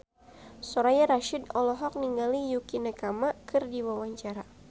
Soraya Rasyid olohok ningali Yukie Nakama keur diwawancara